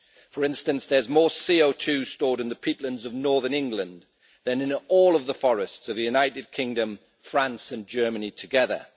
For instance, there is more CO2 stored in the peatlands of northern England than in all of the forests of the United Kingdom, France and Germany together.